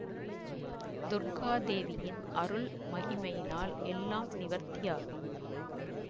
துர்க்காதேவியின் அருள் மகிமையினால் எல்லாம் நிவர்த்தியாகும்